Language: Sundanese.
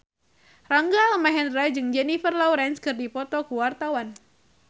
Rangga Almahendra jeung Jennifer Lawrence keur dipoto ku wartawan